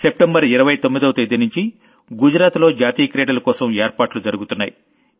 September 29వ తేదీనుంచి గుజరాత్ లో నేషనల్ గేమ్స్ కోసం ఏర్పాటు జరుగుతున్నాయి